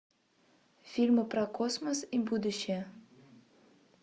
фильмы про космос и будущее